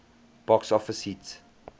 box office hit